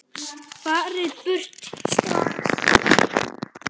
FARIÐ Í BURTU STRAX!